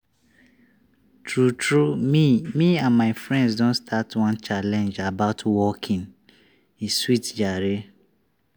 tru tru me me and my friends don start one challenge about walking e sweet jare